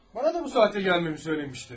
Mənə də bu saatda gəlməyi söyləmişdi.